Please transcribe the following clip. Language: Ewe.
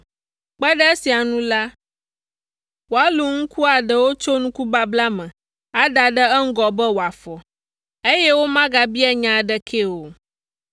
Kpe ɖe esia ŋu la, woalũ nuku aɖewo tso nuku babla me ada ɖe eŋgɔ be wòafɔ, eye womegabia nya aɖekee o.